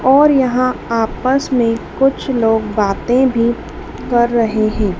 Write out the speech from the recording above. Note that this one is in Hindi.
और यहां आपस में कुछ लोग बातें भी कर रहे हैं।